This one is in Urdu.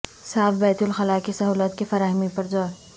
صاف بیت الخلا کی سہولت کی فراہمی پر زور